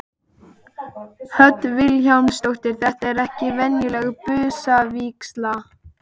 Hödd Vilhjálmsdóttir: Þetta er ekki venjuleg busavígsla?